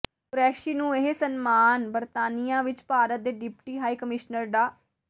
ਕੁਰੈਸ਼ੀ ਨੂੰ ਇਹ ਸਨਮਾਨ ਬਰਤਾਨੀਆ ਵਿਚ ਭਾਰਤ ਦੇ ਡਿਪਟੀ ਹਾਈ ਕਮਿਸ਼ਨਰ ਡਾ